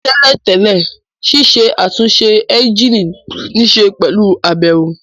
Ní tẹ́lẹ̀ tẹ́lẹ̀, ṣiṣẹ́ àtúnṣe ẹ́ńjìnì níṣe pẹ̀lú àbẹ̀wò